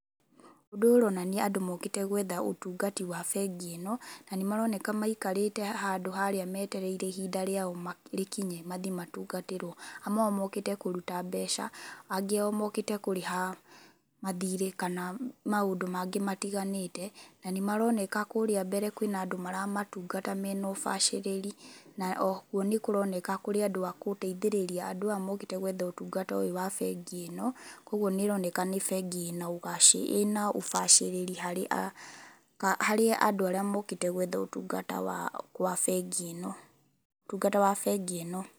Ũndũ ũyũ ũronania andũ mokĩte gwetha ũtungati wa bengi ĩno, na nĩ maroneka maikarĩte handũ harĩa metereire ihinda rĩao rĩkinye mathiĩ matungatĩrwo. Amwe ao mokĩte kũruta mbeca, angi ao mokĩte kũrĩha mathirĩ, kana maũndũ mangĩ matiganĩte. Na nĩ maroneka kũrĩa mbere kwĩna andũ maramatungata mena ũbacĩriri. Na o kuo nĩ kũroneka kũrĩa andũ aya mokite gũteithĩrĩria andũ aya mokĩte gwetha ũtungata ũyũ wa bengi ĩno, koguo nĩ ĩroneka nĩ bengi ĩna ũbacĩrĩri harĩ andu arĩa mokĩte gwetha ũtungata wa bengi ĩno, ũtungata wa bengi ĩno.